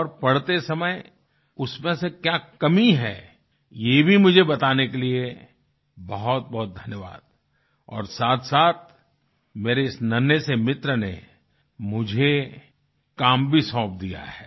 और पढ़ते समय उसमें से क्या कमी है ये भी मुझे बताने के लिए बहुतबहुत धन्यवाद और साथसाथ मेरे इस नन्हे से मित्र ने मुझे काम भी सौंप दिया है